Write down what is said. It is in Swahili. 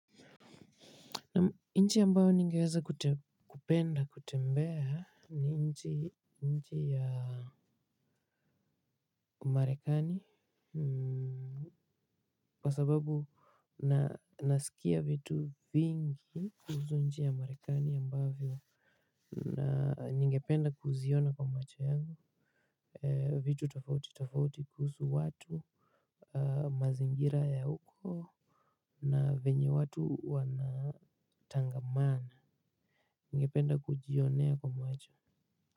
Nchi ambayo ningeweza kupenda kutembea, ni nchi nchi ya Umarekani. Kwa sababu na nasikia vitu vingi kuhusu nchi ya Marekani ambavyo ningependa kuziona kwa macho yangu. Vitu tofauti tofauti kuhusu watu, mazingira ya huko, na venye watu wanatangamana. Ngependa kujionea kwa macho.